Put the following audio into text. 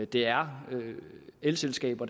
det er elselskaber